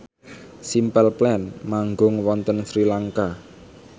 Simple Plan manggung wonten Sri Lanka